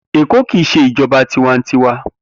Eko ki i se ijoba tiwantiwa.